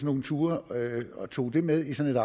nogle ture og tog den med i sådan